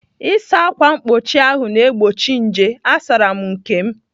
Ịsa ákwà mkpuchi ahụ ná-egbochi nje. Asaara m nke.